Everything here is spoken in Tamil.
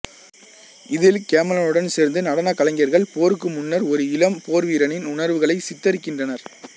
இதில் கேமலனுடன் சேர்ந்து நடனக் கலைஞர்கள் போருக்கு முன்னர் ஒரு இளம் போர்வீரனின் உணர்வுகளை சித்தரிக்கின்றனர்